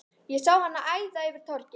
Ég sá hana æða yfir torgið.